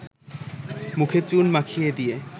মুখে চুন মাখিয়ে দিয়ে